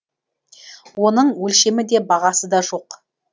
оның өлшемі де бағасы да жоқ